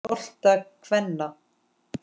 bolta kvenna.